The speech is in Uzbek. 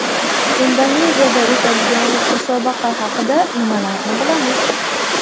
Indoneziyada o‘tadigan musobaqa haqida nimalarni bilamiz?.